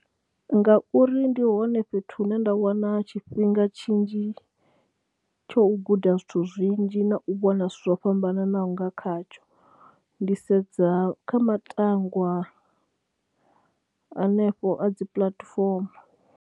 Ngauri ndi hone fhethu hune nda wana tshifhinga tshinzhi tsho u guda zwithu zwinzhi na u vhona zwithu zwo fhambananaho nga khatsho. Ndi sedza kha matangwa hanefho a dzi puḽatifomo.